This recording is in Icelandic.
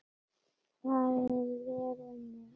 Farið vel um mig?